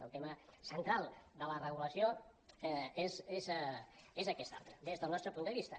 el tema central de la regulació és aquest altre des del nostre punt de vista